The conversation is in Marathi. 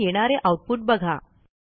आणि येणारे आऊटपुट बघा